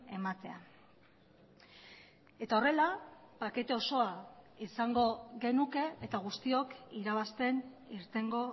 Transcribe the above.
ematea eta horrela pakete osoa izango genuke eta guztiok irabazten irtengo